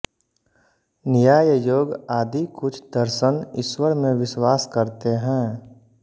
न्याय योग आदि कुछ दर्शन ईश्वर में विश्वास करते हैं